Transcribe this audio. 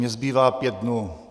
Mně zbývá pět dnů.